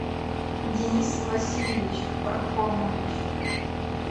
денис васильевич пархомович